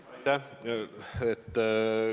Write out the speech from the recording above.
Aitäh!